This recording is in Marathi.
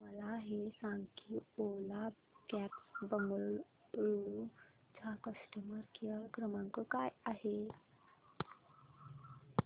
मला हे सांग की ओला कॅब्स बंगळुरू चा कस्टमर केअर क्रमांक काय आहे